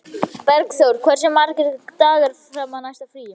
Bergþór, hversu margir dagar fram að næsta fríi?